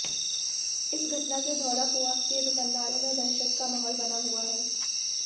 इस घटना से धौलाकुआं के दुकानदारों में दहशत का माहौल बना हुआ है